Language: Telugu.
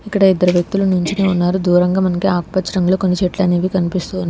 ఇక్కడ ఇద్దరు వ్యక్తులు నించొని ఉన్నారు దూరంగా మనకు ఆకుపచ్చ రంగులో కొన్ని చెట్లు అనేవి కనిపిస్తూ ఉన్నా--